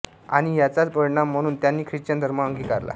आणि याचाच परिणाम म्हणून त्यांनी ख्रिश्चन धर्म अंगीकारला